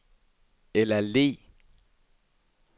Ella Le